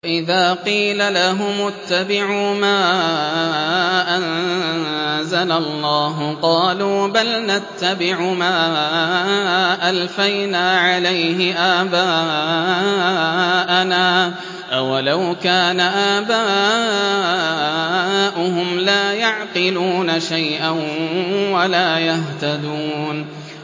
وَإِذَا قِيلَ لَهُمُ اتَّبِعُوا مَا أَنزَلَ اللَّهُ قَالُوا بَلْ نَتَّبِعُ مَا أَلْفَيْنَا عَلَيْهِ آبَاءَنَا ۗ أَوَلَوْ كَانَ آبَاؤُهُمْ لَا يَعْقِلُونَ شَيْئًا وَلَا يَهْتَدُونَ